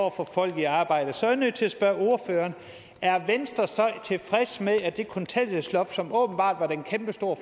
at få folk i arbejde så er jeg nødt til at spørge ordføreren er venstre så tilfreds med at det kontanthjælpsloft som åbenbart var den kæmpestore